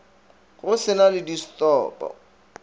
go se na le distopo